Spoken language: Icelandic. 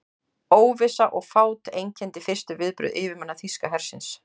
Óvissa og fát einkenndi fyrstu viðbrögð yfirmanna þýska hersins.